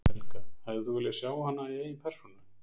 Helga: Hefðir þú viljað sjá hana í eigin persónu?